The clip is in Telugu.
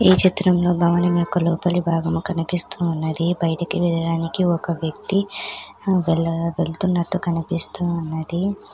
ఈ చిత్రంలో భవనం యొక్క లోపలి భాగము కనిపిస్తూ ఉన్నది. బయటకి వెళ్ళడానికి ఒక వ్యక్తి ఆహ్ వెళ్ళ-వెళ్తున్నట్టు కనిపిస్తూ ఉన్నది.